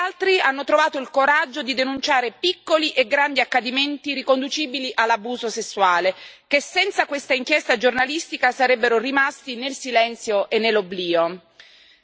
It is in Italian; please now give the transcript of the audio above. Molti altri hanno trovato il coraggio di denunciare piccoli e grandi accadimenti riconducibili all'abuso sessuale, che senza questa inchiesta giornalistica sarebbero rimasti nel silenzio e nell'oblio.